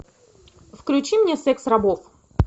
включи мне секс рабов